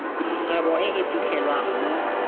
kgwebo e e fitlhelwang mo